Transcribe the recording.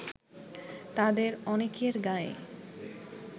তাদের অনেকের গায়ে